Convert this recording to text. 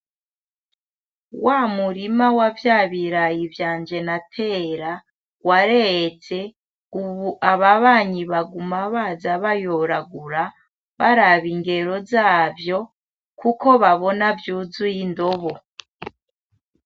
Wamurima wa vyabirayi vyanje natera wareze ubu ababanyi baguma baza bayoragura baraba ingero zavyo kuko babona vyuzuye indobo.